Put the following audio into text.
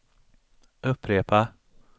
upprepa